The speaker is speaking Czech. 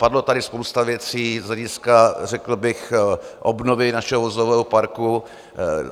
Padla tady spousta věcí z hlediska řekl bych obnovy našeho vozového parku.